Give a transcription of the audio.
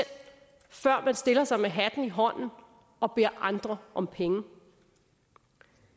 før man stiller sig med hatten i hånden og beder andre om penge